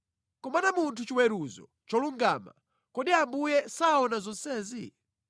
kumana munthu chiweruzo cholungama— kodi Ambuye saona zonsezi?